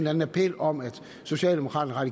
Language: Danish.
anden appel om at socialdemokraterne og